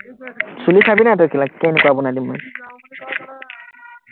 চুলি চাবিনা তই না কেলা কেনেকুৱা বনাই দিম মই,